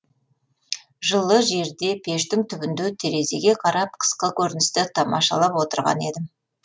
жылы жерде пештің түбінде терезеге қарап қысқы көріністі тамашалап отырған едім